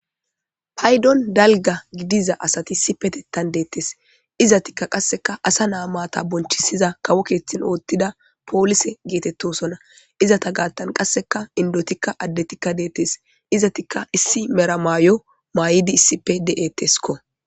Paydon dalga gidiza asati si petettan deettes izatikka qasseka asa naamata bonchisiza kawo keeththin oothtida poolise geetettosonna izata gaattan qasseka indotikka addetikka deettes izatikka issi meramaayo maay'idi issipe de'etteskko.